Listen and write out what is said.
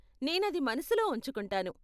నేనది మనసులో ఉంచుకుంటాను.